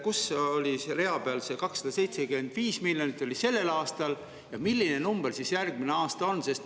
Kus rea peal oli see 275 miljonit sellel aastal ja milline number on siis järgmine aasta?